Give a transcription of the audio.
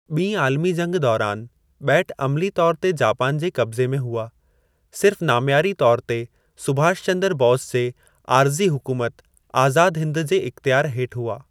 ॿी आलमी जंगि दौरान, ॿेट अमिली तौर ते जापान जे क़ब्ज़ी में हुआ, सिर्फ़ नाम्यारी तौर ते सुभाष चंदरु बोस जे आरज़ी हुकुमत आज़ादु हिंदु जे इख़्तियारु हेठि हुआ।